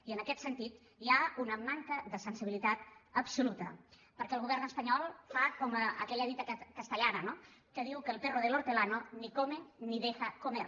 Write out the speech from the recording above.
i en aquest sentit hi ha una manca de sensibilitat absoluta perquè el govern espanyol fa com aquella dita castellana no que diu el perro del hortelano ni come ni deja comer